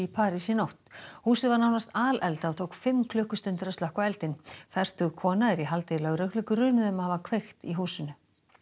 París í nótt húsið var nánast alelda og tók fimm klukkustundir að slökkva eldinn fertug kona er í haldi lögreglu grunuð um að hafa kveikt í húsinu